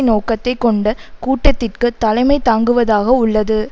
நோக்கத்தை கொண்ட கூட்டத்திற்கு தலைமை தாங்குவதாக உள்ளது